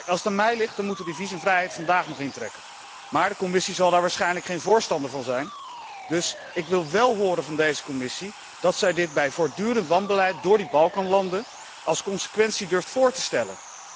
Als het aan mij ligt moeten wij die visumvrijheid vandaag nog intrekken, maar de Commissie zal daar waarschijnlijk geen voorstander van zijn, dus ik wil wél horen van deze Commissie dat zij dit bij voortdurend wanbeleid door die Balkanlanden als consequentie durft voor te stellen.